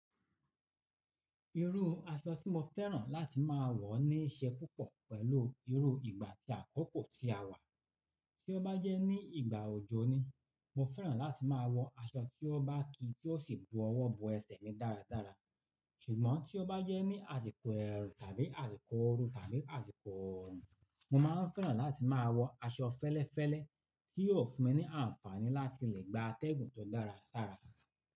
Irú aṣọ tí mo fẹ́ràn láti máa wọ ní í ṣe púpọ̀ pẹ̀lú irú ìgbà tí àkókò tí a wà. Tí ó bá jẹ́ ní ìgbà òjò ni, mo fẹ́ràn láti máa wọ aṣọ tí ó bá ki tí ó sì bu ọwọ́ bo ẹsẹ̀ mi dáradára. Ṣùgbọ́n tí ó bá jẹ́ ní àsìkò ẹ̀rùn tàbí àsìkò ooru tàbí àsìkò ọ̀rùn, mo máa ń fẹ́ràn láti máa wọ aṣọ fẹ́lẹ́fẹ́lẹ́ tí yóò fún mi ní àǹfààní láti lè gba atẹ́gùn tó dára sára sí.